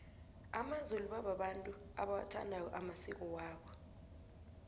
amazulu babantu abawathandako amasiko wabo